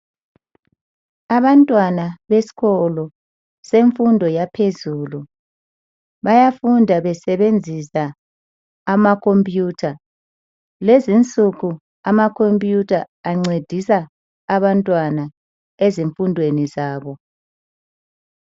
Abantwana besikolo semfundo yaphezulu bayafunda besebenzisa amakhompuyutha kulezi nsuku amakhompuyutha ancedisa abantwana ezifundweni zabo